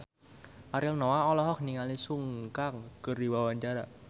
Ariel Noah olohok ningali Sun Kang keur diwawancara